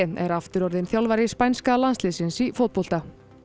er aftur orðinn þjálfari spænska landsliðsins í fótbolta